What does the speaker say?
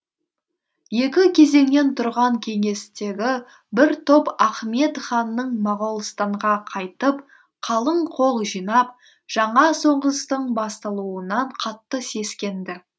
екі кезеңнен тұрған кеңестегі бір топ ахмед ханның моғолстанға қайтып қалың қол жинап жаңа соғыстың басталуынан қатты сескенді